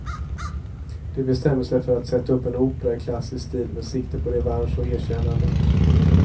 De bestämmer sig för att sätta upp en opera i klassisk stil med sikte på revansch och erkännande.